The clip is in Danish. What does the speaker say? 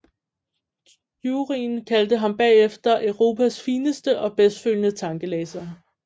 Juryen kaldte ham bagefter Europas fineste og bedst følende tankelæser